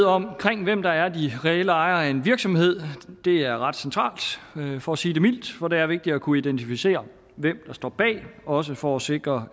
omkring hvem der er de reelle ejere af en virksomhed det er ret centralt for at sige det mildt for det er vigtigt at kunne identificere hvem der står bag også for at sikre